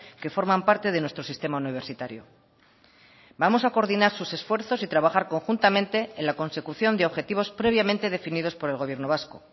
que forman parte de nuestro sistema universitario vamos a coordinar sus esfuerzos y trabajar conjuntamente en la consecución de objetivos previamente definidos por el gobierno vasco